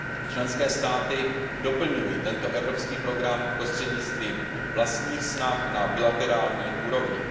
Členské státy doplňují tento evropský program prostřednictvím vlastních snah na bilaterální úrovni.